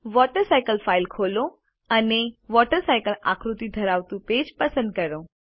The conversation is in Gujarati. વોટરસાયકલ ફાઇલ ખોલો અને વોટરસાયકલ આકૃતિ ધરાવતું પેજ પસંદ કરો